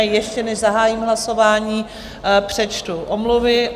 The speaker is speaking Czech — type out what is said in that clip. A ještě než zahájím hlasování, přečtu omluvy.